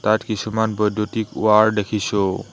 ইয়াত কিছুমান বৈদ্যুতিক ওৱাৰ দেখিছোঁ।